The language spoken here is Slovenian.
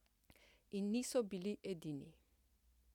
In niso bili edini.